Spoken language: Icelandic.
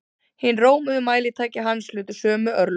Hin rómuðu mælitæki hans hlutu sömu örlög.